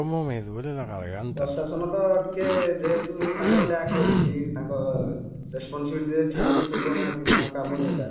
ପ୍ରଶାସନ ତ ଟିକେ ଯେହେତୁ ତାଙ୍କର lack ରହୁଛି ତାଙ୍କ responsibility ଠିକ୍ ରେ ତୁଳାଉନାହାନ୍ତି ତାଙ୍କ କାମ ଯୋଉଟା